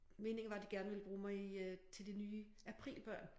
Meningen var de gerne ville bruge mig i øh til de nye aprilbørn